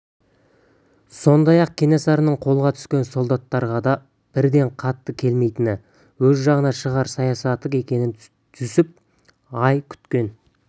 сондай-ақ кенесарының қолға түскен солдаттарға да бірден қатты келмейтіні өз жағына шығару саясаты екенін жүсіп көп ай өткен